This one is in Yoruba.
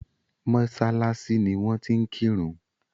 mọ́sálásí ni wón ti ń kírun.